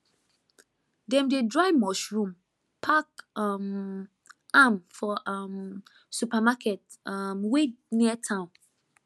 dem dey dry mushroom pack um am for um supermarket um wey near town